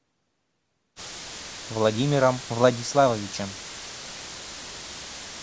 владимиром владиславовичем